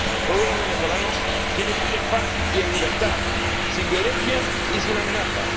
El pueblo venezolano quiere vivir en paz y en libertad, sin violencia y sin amenazas.